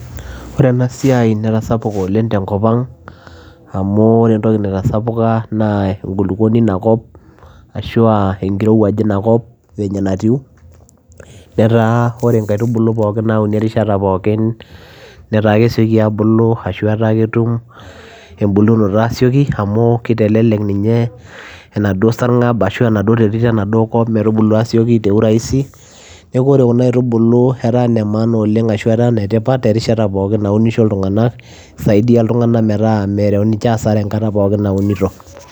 Ore ena siai netasapuka oooleng te nkop te kop ang, amu ore etoki naitasapuka naa ae kuluponi ina kop ashu ekirowuaj ina kop venye enatiu, netaa ore kaitubulu pooki onauni erishata pooki netaa kesieki aabulu amu, etaa ketum ebulunoto asieki amu kitelelek ninye enaduo sarngab ashu enaduo terit enaduo kop ometubu asieki kwa urahisi, neaku ore kuna aitubulu etaa nee maana oooleng ashu etaa netipat ekata pooki amu ore ekata pioki naunisho iltungana nisaidia iltungana metaa ekesare ekata pooki naunisho.